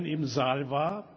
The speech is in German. im Saal war.